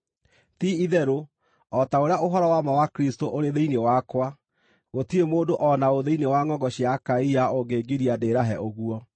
Ti-itherũ o ta ũrĩa ũhoro wa ma wa Kristũ ũrĩ thĩinĩ wakwa, gũtirĩ mũndũ o na ũ thĩinĩ wa ngʼongo cia Akaia ũngĩngiria ndĩrahe ũguo.